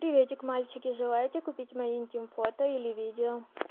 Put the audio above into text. приветик мальчики желаете купить мои интим фото или видео